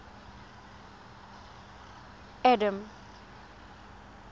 adam